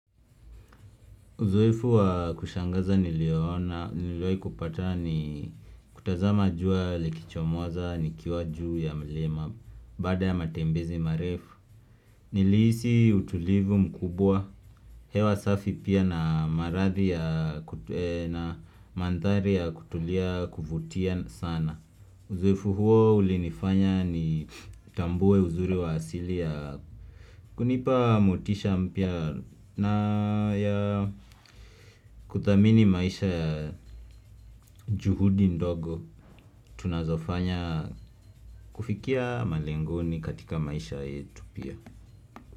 Uzoefu wa kushangaza nilioona, niliwahi kupata ni kutazama jua likichomoza, nikiwa juu ya mlima, baada ya matembezi marefu Nilihisi utulivu mkubwa, hewa safi pia na maradhi ya kutulia, na mandhari ya kutulia kuvutia sana Uzoefu huo ulinifanya nitambue uzuri wa asili ya kunipa motisha mpya na ya kuthamini maisha juhudi ndogo tunazofanya kufikia malengoni katika maisha yetu pia.